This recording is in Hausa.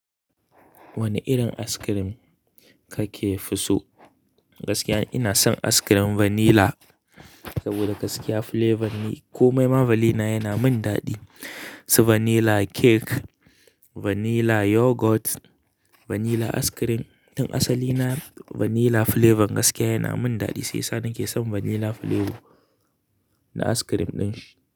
Wane irin askirim kake fi so? Gaskiya ina son askirim vanilla, saboda gaskiya flavor ni komai ma valina yana min daɗi. So vanilla cake, vanilla yoghurt, vanilla askirim. Tun asalina vanilla flavor gaskiya yana min daɗi, shi yasa nake son vanilla flavor na askirim ɗin shi.